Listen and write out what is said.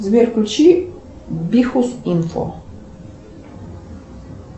сбер включи бихус инфо